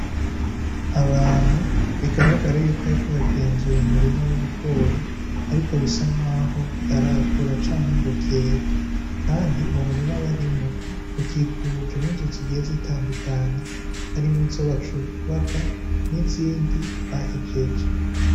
Abantu bigaragara yuko bariko bagenzura umurima w'ibigori ariko bisa nkaho bitarakura canke ngo vyere kandi uwo murima barimwo ukikujwe n' inzu zigiye zitandukanye harimwo izo bacubaka nizindi bahejeje.